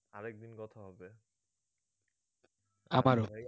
আরেকদিন কথা হবে